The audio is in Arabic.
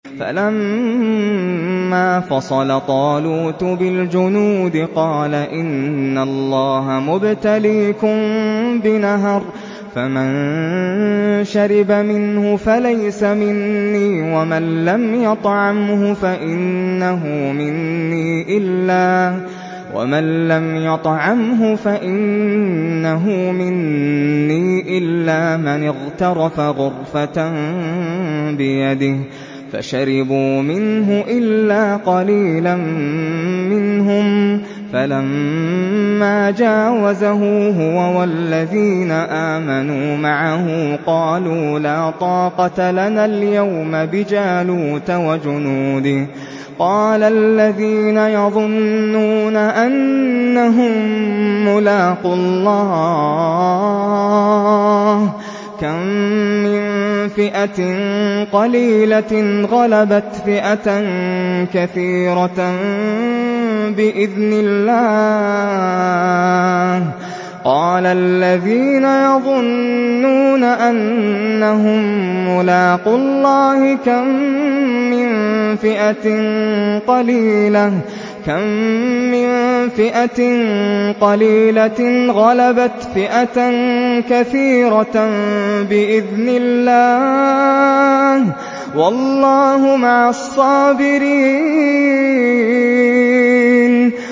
فَلَمَّا فَصَلَ طَالُوتُ بِالْجُنُودِ قَالَ إِنَّ اللَّهَ مُبْتَلِيكُم بِنَهَرٍ فَمَن شَرِبَ مِنْهُ فَلَيْسَ مِنِّي وَمَن لَّمْ يَطْعَمْهُ فَإِنَّهُ مِنِّي إِلَّا مَنِ اغْتَرَفَ غُرْفَةً بِيَدِهِ ۚ فَشَرِبُوا مِنْهُ إِلَّا قَلِيلًا مِّنْهُمْ ۚ فَلَمَّا جَاوَزَهُ هُوَ وَالَّذِينَ آمَنُوا مَعَهُ قَالُوا لَا طَاقَةَ لَنَا الْيَوْمَ بِجَالُوتَ وَجُنُودِهِ ۚ قَالَ الَّذِينَ يَظُنُّونَ أَنَّهُم مُّلَاقُو اللَّهِ كَم مِّن فِئَةٍ قَلِيلَةٍ غَلَبَتْ فِئَةً كَثِيرَةً بِإِذْنِ اللَّهِ ۗ وَاللَّهُ مَعَ الصَّابِرِينَ